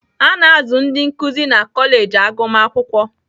A na-azụ ndị nkuzi na kọleji agụmakwụkwọ